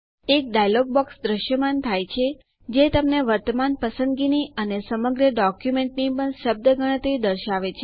એક dialogue box દ્રશ્યમાન થાય છે જે તમને વર્તમાન પસંદગીની અને સમગ્ર ડોક્યુમેન્ટની પણ શબ્દ ગણતરી દર્શાવે છે